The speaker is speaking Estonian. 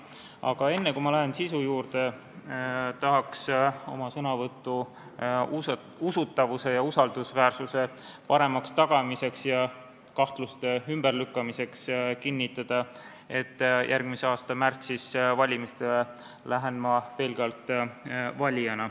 Aga enne, kui ma lähen sisu juurde, tahan oma sõnavõtu usutavuse ja usaldusväärsuse paremaks tagamiseks ja kahtluste ümberlükkamiseks kinnitada, et järgmise aasta märtsis lähen ma valimistele pelgalt valijana.